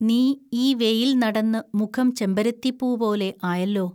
നീ ഈ വെയിൽ നടന്നു മുഖം ചെമ്പരത്തിപ്പൂപോലെ ആയല്ലോ